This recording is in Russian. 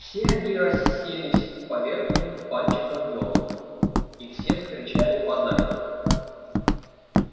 все они расселись по верхним пальчикам ёлок и все закричали по зайцу